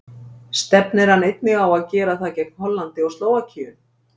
Stefnir hann einnig á að gera það gegn Hollandi og Slóvakíu?